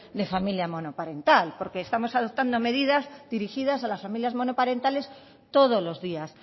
de familia monoparental porque estamos adoptando medidas dirigidas a las familias monoparentales todos los días